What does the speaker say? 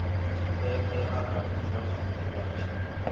tshipembe arali zwazwino vha tshi